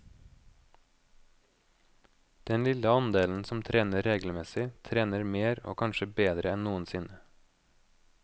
Den lille andelen som trener regelmessig, trener mer og kanskje bedre enn noensinne.